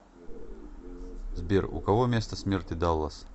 сбер у кого место смерти даллас